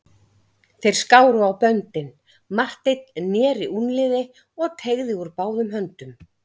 Þeir skáru á böndin, Marteinn neri úlnliði og teygði úr báðum höndum.